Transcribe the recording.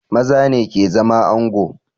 Maza ne ke zama ango